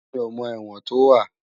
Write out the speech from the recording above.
Mi ó mò èwòn tó wá